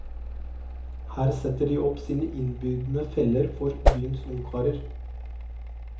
Her setter de opp sine innbydende feller for byens ungkarer.